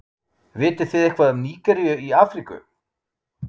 vitið þið eitthvað um nígeríu í afríku